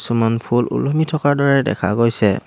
কিছুমান ফুল ওলমি থকাৰ দৰে দেখা গৈছে।